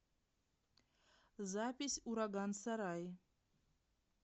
запись ураган сарай